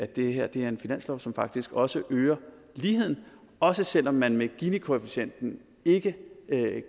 det her er en finanslov som faktisk også øger ligheden også selv om man med ginikoefficienten ikke